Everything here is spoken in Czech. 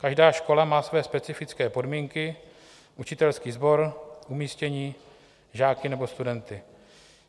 Každá škola má své specifické podmínky, učitelský sbor, umístění, žáky nebo studenty.